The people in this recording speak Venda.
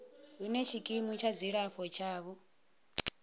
hune tshikimu tsha dzilafho tshavho